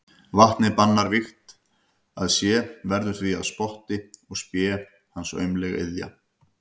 Vatnið bannar vígt að sé, verður því að spotti og spé hans aumleg iðja.